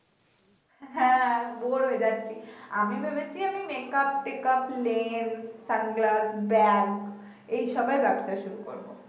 হ্যা বোর হয়ে যাচ্ছি আমি ভেবেছি আমি মেকাপ টেকাপ লেম সানগ্লাস ব্যাগ এইসবের ব্যাবসা শুরু করব